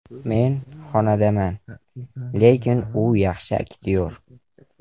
Men xonandaman, lekin u yaxshi aktyor.